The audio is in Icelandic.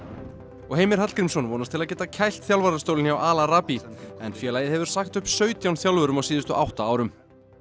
og Heimir Hallgrímsson vonast til að geta kælt þjálfarastólinn hjá Al Arabi en félagið hefur sagt upp sautján þjálfurum á síðustu átta árum